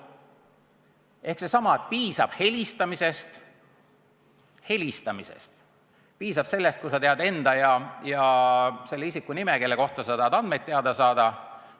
Ehk seesama: piisab helistamisest, piisab sellest, kui sa annad teada enda ja selle isiku nime, kelle kohta sa tahad andmeid teada saada.